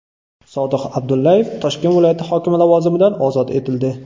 Sodiq Abdullayev Toshkent viloyati hokimi lavozimidan ozod etildi .